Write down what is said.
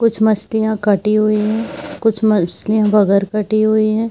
कुछ मछलिया कटी हुई है कुछ मछलिया बगैर कटी हुई है।